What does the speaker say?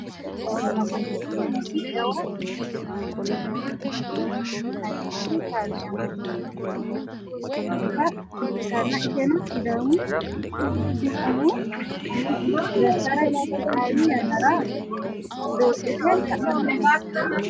konne bayicho jawa ama ikkitinoti jawa geercho mancho angase ayiimmate kaarde amaddinoti uurrite noota ikkitanna, iseno sidaamu umu umisi gashshara qixxaawi yannara doodhite sa'inote.